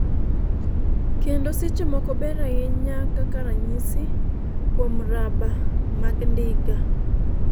kendo seche moko ber ahinya kaka ranyisi, kuom raba mag ndiga